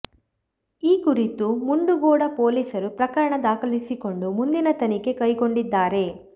ಈ ಕುರಿತು ಮುಂಡಗೋಡ ಪೊಲೀಸರು ಪ್ರಕರಣ ದಾಖಲಿಸಿಕೊಂಡು ಮುಂದಿನ ತನಿಖೆ ಕೈಗೊಂಡಿದ್ದಾರೆ